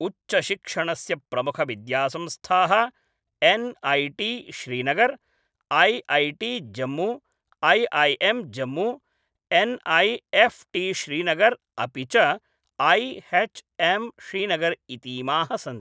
उच्चशिक्षणस्य प्रमुखविद्यासंस्थाः NIT. Srinagar, IIT. Jammu, IIM. Jammu, NIFT Srinagar अपि च ऐ.एच्.एम् श्रीनगर् इतीमाः सन्ति।